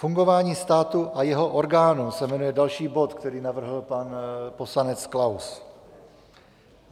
Fungování státu a jeho orgánů se jmenuje další bod, který navrhl pan poslanec Klaus.